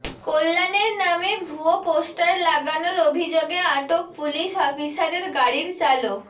কল্যাণের নামে ভুয়ো পোস্টার লাগানোর অভিযোগে আটক পুলিশ অফিসারের গাড়ির চালক